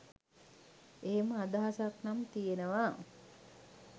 එහෙම අදහසක් නම් තියෙනවා.